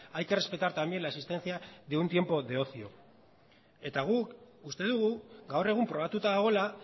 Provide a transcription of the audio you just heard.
hay que respetar también la existencia de un tiempo de ocio eta guk uste dugu gaur egun probatuta dagoela